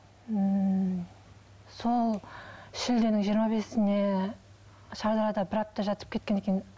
ммм сол шілденің жиырма бесінде шардарада бір апта жатып кеткен екен